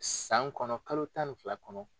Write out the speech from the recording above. San kɔnɔ kalo tan ni fila kɔnɔ.